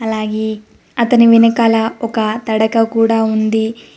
అలాగే అతని వెనకాల ఒక తడక కూడా ఉంది.